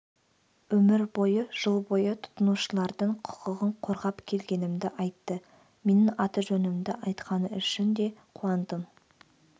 өмір бойы жыл бойы тұтынушылардың құқығын қорғап келгенімді айтты менің аты-жөнімді айтқаны үшін де қуандым